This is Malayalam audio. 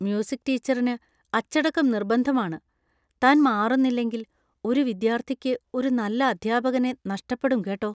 മ്യൂസിക് ടീച്ചറിന് അച്ചടക്കം നിര്‍ബന്ധമാണ്, താൻ മാറുന്നില്ലെങ്കിൽ ഒരു വിദ്യാർത്ഥിക്ക് ഒരു നല്ല അധ്യാപകനെ നഷ്ടപ്പെടും കേട്ടോ.